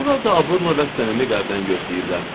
Onlar da abırla və səmimi qəlbdən gözləyirlər.